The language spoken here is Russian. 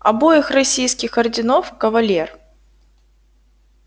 обоих российских орденов кавалер